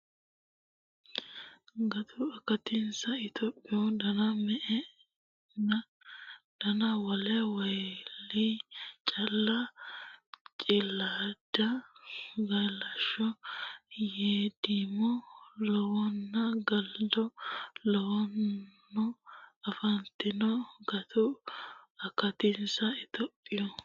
Gutu akatinsa Itophiyu dana me enna dana wole Waaliya calla Cilaada galashsho geedimo lawanno galado lawanno afantanno Gutu akatinsa Itophiyu.